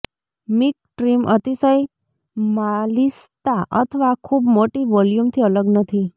mink trim અતિશય માલિશતા અથવા ખૂબ મોટી વોલ્યુમથી અલગ નથી